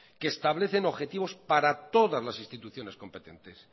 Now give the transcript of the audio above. que establece objetivos para todas las instituciones competentes